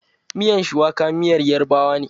Miyan shuwaka miyar yarbawa ne.